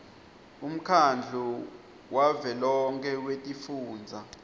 umkhandlu wavelonkhe wetifundza